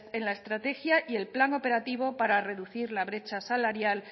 en la estrategia y el plan operativo para reducir la brecha salarial